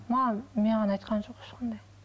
маған маған айтқан жоқ ешқандай